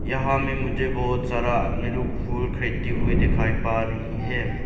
जहां में मुझे बहोत सारा आदमी लोग फूल खरीदते हुए दिखाई पा रही है।